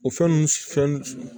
O fɛn nunnu fɛn